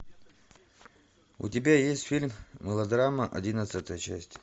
у тебя есть фильм мелодрама одиннадцатая часть